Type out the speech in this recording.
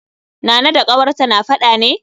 Nana da ƙawarta na faɗa ne?